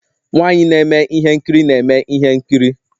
Nwanyị na-eme ihe nkiri na-eme ihe nkiri